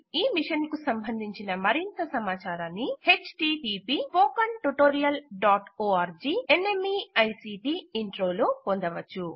ఈ మిషన్కు సంబంధించిన మరింత సమాచారాన్ని httpspoken tutorialorgNMEICT Intro లో పొందవచ్చు